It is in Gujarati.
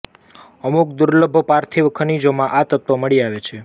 અમુક દુર્લભ પાર્થિવ ખનિજોમાં આ તત્વ મળી આવે છે